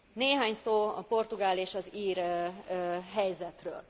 Néhány szó a portugál és az ír helyzetről.